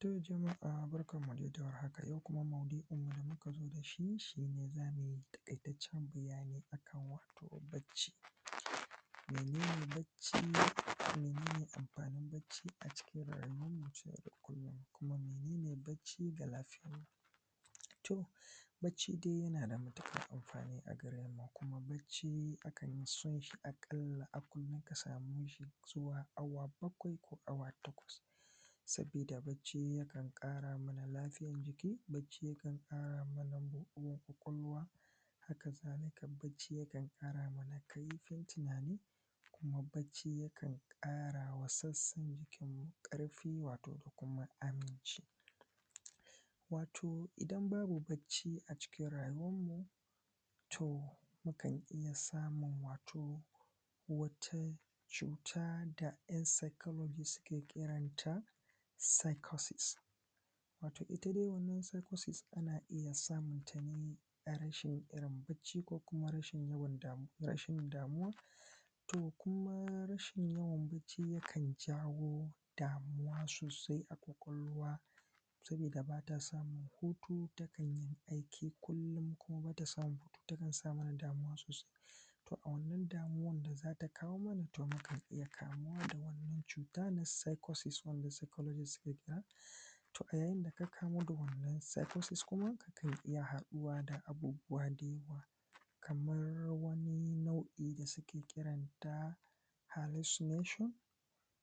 To jama’a barkan mu dai da warhaka, yau kuma mau’du’in da muka zo da shi shine za mu yi taƙaitaccen bayani akan wato bacci. Mene ne bacci, Mene ne amfanin bacci a cikin rayuwar mu ta yau da kullum, Kuma mene ne bacci ga lafiyar. To bacci dai yana da matuƙar amfani a gare mu kuma bacci akan yi so shi a ƙalla a kullum ka same shi zuwa awa bakwai ko awa takwas sabkda bacci yakan ƙara mana lafiyan jiki, bacci yakan ƙara mana buɗuwan ƙwaƙwalwa, haka zalika bacci yakan ƙara mana kaifin tunani, kuma bacci yakan ƙara wa sassan jikin mu ƙarfi wato da kuma aminci. Wato idan babu bacci a cikin rayuwanmu, to mukan iya samun wato wata cuta da yan psycology suke kiranta psycosis. Wato ita dai wannan psycosis ana iya samun ta ne a rashin irin bacci ko kuma rashin yawan damu rashin yawan damuwa, to kuma rashin yawan bacci yakan jawo damuwa sosai a ƙwaƙwalwa sabida ba ta samun hutu takan yi aiki kullum kuma bata samun hutu tana sa mana damuwa sosai. To a wannan damuwan da za ta kawo mana to mukan iya kamuwa da wannan cuta na psycoses wanda psycologist suke kira to a yayin da ka kamu da wannan psychoses kuma kakan iya haduwa da abubuwa da yawa kamar wani nau’i da suke kiran ta hallucination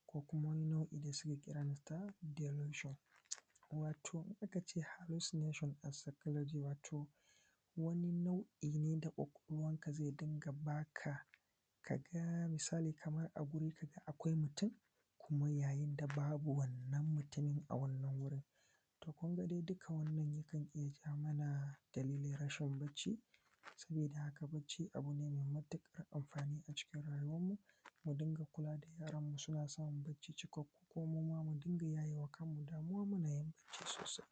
ko kuma wani nau’i da suke kiranta dilution. Wato aka ce hallucination a psycology wato wani nau’i ne da ƙwaƙwalwan ka zai dinga baka kaga misali kaman a gurin ka da akwai mutum kuma yayin da babu wannan mutumin a wannan wurin. To Kun ga dai duka wannan yakan iya ja mana dalilin rashin bacci. Sabida haka bacci abu ne mai matuƙar amfani a cikin rayuwan mu. Mu dinga kula da yaran mu suna samun bacci cikakku kuma muma mu dinga yaye wa kanmu damuwa munyi bacci sosai.